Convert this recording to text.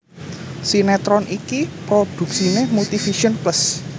Sinetron iki prodhuksiné Multivision Plus